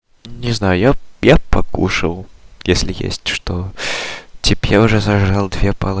не знаю я я бы покушал если есть что типо я уже сожрал две пал